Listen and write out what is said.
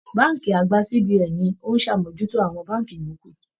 Bánkì àgbà CBN ní o n sàmójútó àwọn bánkì yòókù.